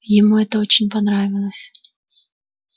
ему это очень понравилось